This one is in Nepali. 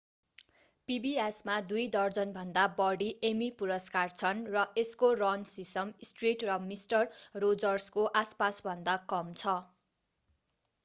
pbs मा दुई दर्जनभन्दा बढी एमी पुरस्कार छन् र यसको रन सिसम स्ट्रीट र मिस्टर रोजर्सको आसपासभन्दा कम छ